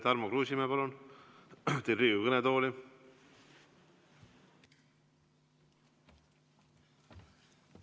Tarmo Kruusimäe, palun teid Riigikogu kõnetooli!